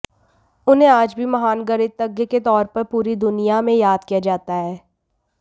उन्हें आज भी महान गणितज्ञ के तौर पर पूरी दुनिया में याद किया जाता है